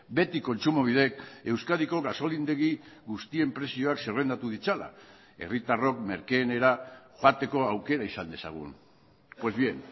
beti kontsumobidek euskadiko gasolindegi guztien prezioak zerrendatu ditzala herritarrok merkeenera joateko aukera izan dezagun pues bien